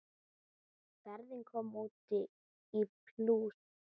Ferðin kom út í plús.